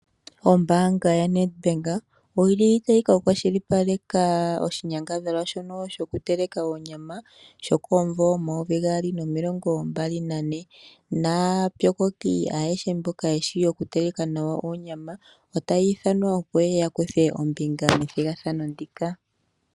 Ombaanga yaNed Bank ota yi kwa shilipaleke oshinyangadhalwa shono sho ku teleka onyama, aantu otaya ithanwa opo ye ye yakuthe ombinga moshinyangadhalwa sho munvo omayovi gaali nomilongo mbali nane taya othanwa opo ye ye yakuthe ombinga methigathano ndika